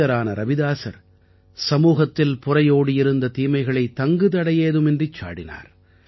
புனிதரான ரவிதாஸர் சமூகத்தில் புரையோடியிருந்த தீமைகளை தங்குதடையேதுமின்றிச் சாடினார்